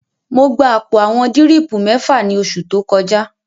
Mo gba àpò àwọn dírìpù mẹ́fà ní oṣù tó kọjá